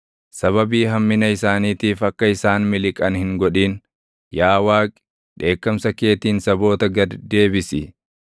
Sababii hammina isaaniitiif akka isaan miliqan hin godhin; yaa Waaqi, dheekkamsa keetiin saboota gad deebisi.